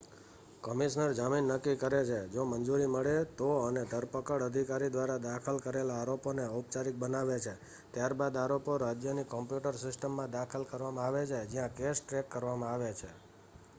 commissioner જામીન નક્કી કરે છે જો મંજૂરી મળે તો અને ધરપકડ અધિકારી દ્વારા દાખલ કરેલા આરોપોને ઔપચારિક બનાવે છે ત્યારબાદ આરોપો રાજ્યની કોમ્પ્યુટર સિસ્ટમમાં દાખલ કરવામાં આવે છે જ્યાં કેસ ટ્રેક કરવામાં આવે છે